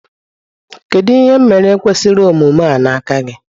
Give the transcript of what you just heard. kedu ihe m mere kwesiri omume a n'aka gi?